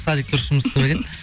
садик дұрыс жұмыс істемеген